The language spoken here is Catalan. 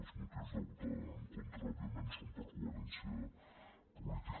els motius de votar en contra òbvia·ment són per coherència política